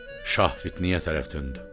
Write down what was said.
Şah Fitniyə tərəf döndü.